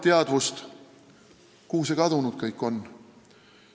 Kuhu see kõik kadunud on?